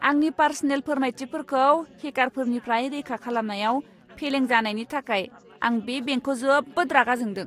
आंनि पार्सनेल फोरमायथिफोरखौ हेकारफोरनिफ्राय रैखा खालामनायाव फेलें जानायनि थाखाय आं बे बेंकखौ जोबोद रागा जोंदों!